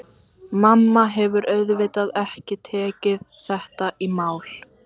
Mamma hefur auðvitað ekki tekið þetta í mál.